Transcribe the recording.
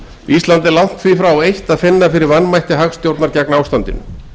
ísland er langt því frá eitt að finna fyrir vanmætti hagstjórnar gegn ástandinu